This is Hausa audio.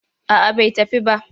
A'a bai tafi ba.